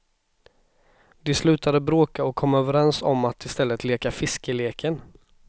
De slutade bråka och kom överens om att i stället leka fiskeleken.